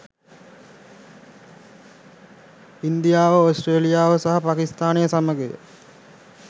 ඉන්දියාව ඕස්ට්‍රේලියාව සහ පාකිස්ථානය සමඟය.